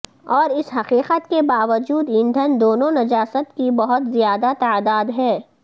اور اس حقیقت کے باوجود ایندھن دونوں نجاست کی بہت زیادہ تعداد ہے